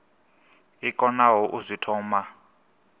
i konaho u zwi thoma